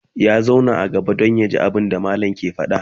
ya zauna a gaba Dan yaji abunda mallamin ke faɗa